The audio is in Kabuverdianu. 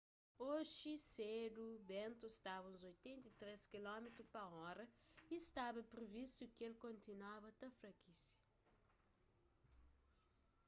oji sedu bentu staba uns 83 km/h y stba privistu ki el kontinuaba ta frakise